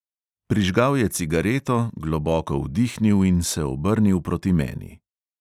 Prižgal je cigareto, globoko vdihnil in se obrnil proti meni.